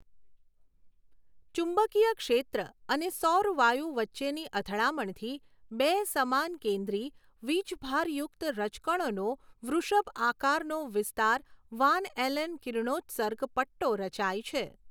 ચુંબકીય ક્ષેત્ર અને સૌર વાયુ વચ્ચેની અથડામણથી બે સમાનકેન્દ્રી વીજભારયુકત રજકણો નો વૃષભ આકારનો વિસ્તાર વાન ઍલન કિરણોત્સર્ગ પટ્ટો રચાય છે.